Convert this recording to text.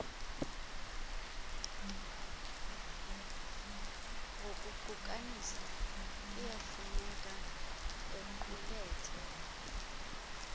ngokuqukanisa iyafuneka equlethe